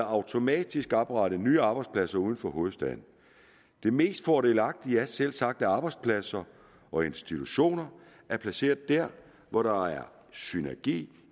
automatisk at oprette nye arbejdspladser uden for hovedstaden det mest fordelagtige er selvsagt at arbejdspladser og institutioner er placeret der hvor der er synergi